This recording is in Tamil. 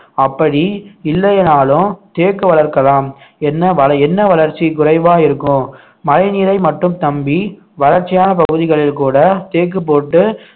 அப்படி இல்லைனாலும் தேக்கு வளர்க்கலாம் என்ன வ~ என்ன வளர்ச்சி குறைவா இருக்கும் மழைநீரை மட்டும் நம்பி வறட்சியான பகுதிகளில் கூட தேக்கு போட்டு